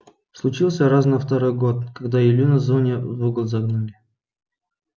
случился раз на второй год когда илью на зоне в угол загнали